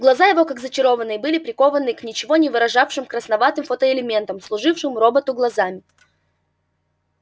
глаза его как зачарованные были прикованы к ничего не выражавшим красноватым фотоэлементам служившим роботу глазами